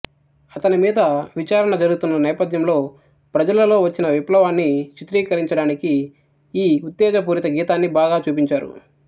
అతని మీద విచారణ జరుగుతున్న నేపథ్యంలొ ప్రజలలో వచ్చిన విప్లవాన్ని చిత్రీకరించడానికి ఈ ఉత్తేజపూరిత గీతాన్ని బాగా చూపించారు